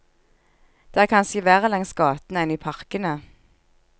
Det er kanskje verre langs gatene enn i parkene.